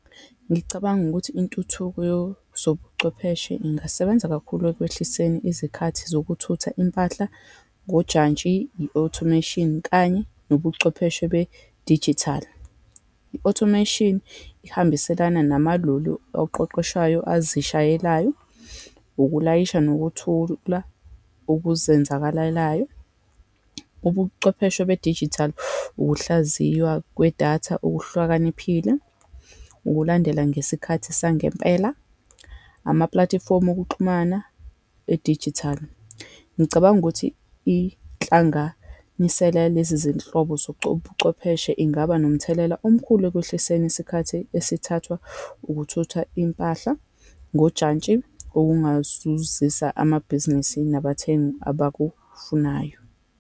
Ngicabanga ukuthi intuthuko yozobuchwepheshe ingasebenza kakhulu ekwehliseni izikhathi zokuthutha impahla ngojantshi, i-automation, kanye nobuchwepheshe bedijithali. I-automation ihambiselana namalulu oqeqeshayo azishayelayo, ukulayisha nokuthula okuzenzakalelayo, ubuchwepheshe bedijithali, ukuhlaziywa kwedatha okuhlwakaniphile, ukulandela ngesikhathi sangempela, amapulatifomu okuxhumana edijithali. Ngicabanga ukuthi inhlanganisela yalezi zinhlobo buchwepheshe ingaba nomthelela omkhulu ekwehliseni isikhathi esithathwa ukuthutha impahla ngojantshi, okungazuzisa amabhizinisi nabathengi abakufunayo.